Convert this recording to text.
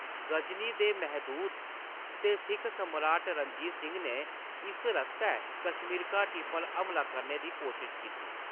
गजनी दे महमूद ते सिक्ख सम्राट रणजीत सिंह ने इस रस्तै कश्मीर घाटी पर हमला करने दी कोशश कीती।